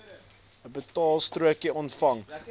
n betaalstrokie ontvang